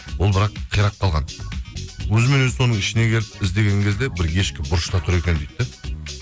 ол бірақ қирап қалған өзімен өзі соның ішіне келіп іздеген кезде бір ешкі бұрышта тұр екен дейді де